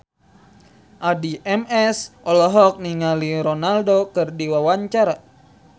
Addie MS olohok ningali Ronaldo keur diwawancara